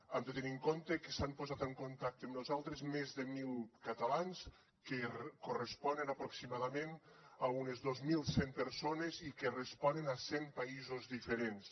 han de tenir en compte que s’han posat en contacte amb nosaltres més de mil catalans que corresponen aproximadament a unes dos mil cent persones i que responen a cent països diferents